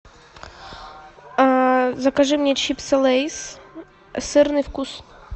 закажи мне чипсы лейс сырный вкус